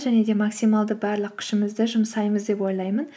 және де максималды барлық күшімізді жұмсаймыз деп ойлаймын